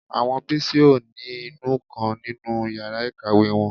Àwọn Bísí ò ní inú nǹkan nínú yàrá ìkàwé wọn